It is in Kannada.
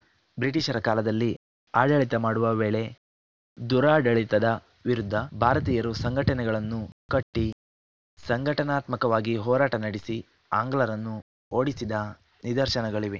ಬ್ರಿಟಿಷರ ಕಾಲದಲ್ಲಿ ಆಡಳಿತ ಮಾಡುವ ವೇಳೆ ದುರಾಡಳಿತದ ವಿರುದ್ಧ ಭಾರತೀಯರು ಸಂಘಟನೆಗಳನ್ನು ಕಟ್ಟಿಸಂಘಟನಾತ್ಮಕವಾಗಿ ಹೋರಾಟ ನಡೆಸಿ ಆಂಗ್ಲರನ್ನು ಓಡಿಸಿದ ನಿದರ್ಶನಗಳಿವೆ